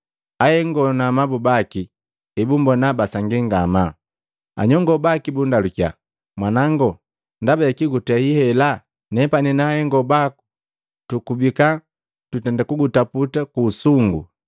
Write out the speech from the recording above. Ahengo na amabu baki ebumbona basangii ngamaa. Anyongo baki bundalukiya, “Mwanango, ndaba jakii gutei hela? Nepani na ahengo baku tukubika tutenda kugutaputa ku usungu.”